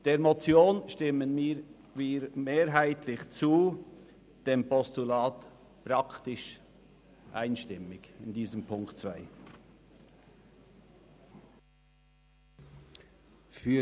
Der Motion stimmen wir mehrheitlich zu, dem Postulat praktisch einstimmig, was den Punkt 2 betrifft.